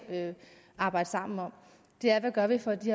arbejde sammen om er hvad gør vi for at de